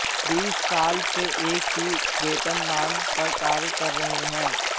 बीस साल से एक ही वेतनमान पर कार्य कर रहे हैं